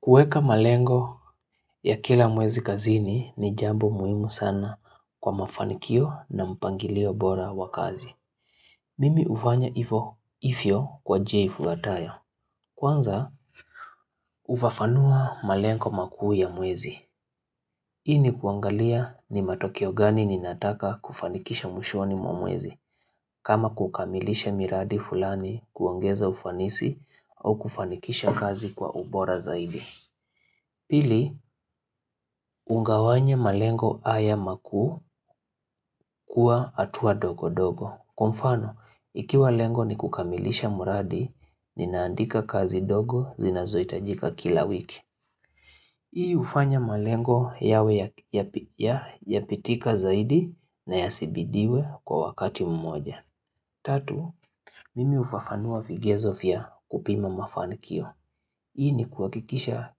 Kueka malengo ya kila mwezi kazini ni jambo muhimu sana kwa mafanikio na mpangilio bora wa kazi. Mimi ufanya ifo ifyo kwa jia ifuatayo. Kwanza ufafanua malengo makuu ya mwezi. Ili kuangalia ni matokeo gani ninataka kufanikisha mwishoni mwa mwezi. Kama kukamilisha miradi fulani kuongeza ufanisi au kufanikisha kazi kwa ubora zaidi. Pili, ungawanya malengo haya makuu kuwa atua dogo dogo. Kwa mfano, ikiwa lengo ni kukamilisha muradi, ninaandika kazi dogo zinazo itajika kila wiki. Hii ufanya malengo yawe ya pitika zaidi na ya sibidiwe kwa wakati mmoja. Tatu, mimi ufafanua vigezo vya kupima mafanikio. Hii ni kuakikisha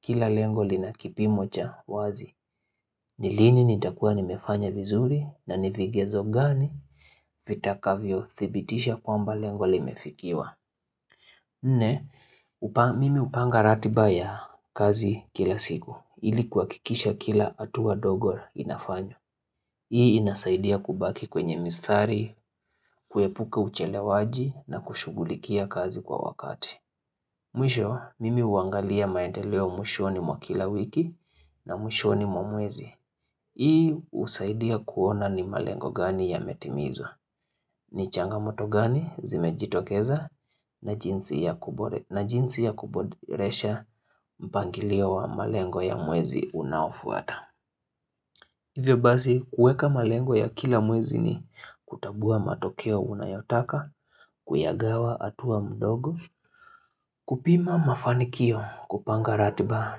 kila lengoli na kipimocha wazi. Nilini nitakua nimefanya vizuri na nivigezo gani vitakavyo thibitisha kwamba lengoli mefikiwa. Nne, mimi upanga ratibaya kazi kila siku. Ili kuakikisha kila atuwa dogo inafanywa. Hii inasaidia kubaki kwenye mistari, kuepuka uchele waji na kushugulikia kazi kwa wakati. Mwisho, mimi uangalia maendeleo mwisho ni mwa kila wiki na mwisho ni mwa mwezi. Hii usaidia kuona ni malengo gani ya metimizwa. Ni changamoto gani zimejitokeza na jinsi ya kuboresha mpangilio wa malengo ya mwezi unaofuata. Hivyo bazi, kueka malengo ya kila mwezi ni kutabua matokeo unayotaka, kuyagawa atua mdogo, kupima mafanikio, kupanga ratiba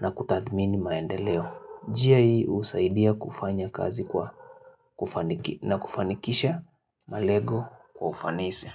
na kutathmini maendeleo. Jia hii usaidia kufanya kazi na kufanikisha malego kwa ufanisi.